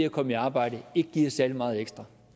at komme i arbejde ikke giver særlig meget ekstra